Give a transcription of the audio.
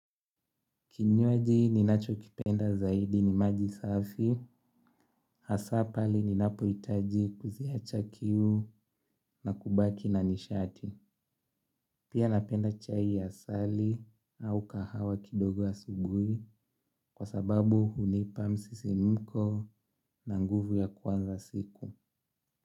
Kinywaji ninachokipenda zaidi ni maji safi, hasa pale ninapohitaji kuziacha kiu na kubaki na nishati. Pia napenda chai ya asali au kahawa kidogo asubuhi kwa sababu hunipa msisimko na nguvu ya kuanza siku.